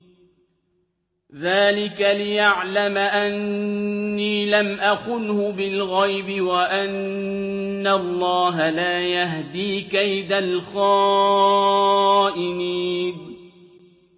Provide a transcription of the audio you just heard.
ذَٰلِكَ لِيَعْلَمَ أَنِّي لَمْ أَخُنْهُ بِالْغَيْبِ وَأَنَّ اللَّهَ لَا يَهْدِي كَيْدَ الْخَائِنِينَ